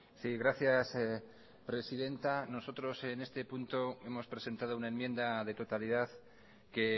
sí gracias presidenta nosotros en este punto hemos presentado una enmienda de totalidad que